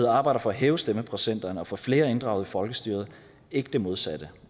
arbejder for at hæve stemmeprocenterne og få flere inddraget i folkestyret ikke det modsatte